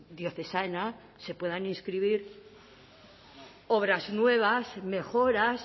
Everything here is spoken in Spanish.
diocesana se puedan inscribir obras nuevas mejoras